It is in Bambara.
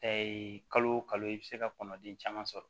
kalo o kalo i bɛ se ka kɔnɔden caman sɔrɔ